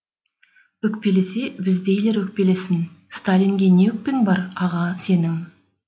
өкпелесе біздейлер өкпелесін сталинге не өкпең бар аға сенің